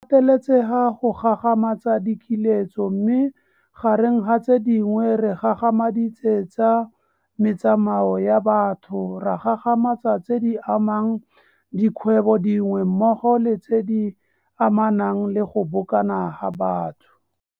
Pateletsega go gagamatsa dikiletso mme gareng ga tse dingwe re gagamaditse tsa metsamao ya batho, ra gagamatsa tse di amang dikgwebong dingwe mmogo le tse di amanang le go bokana ga batho.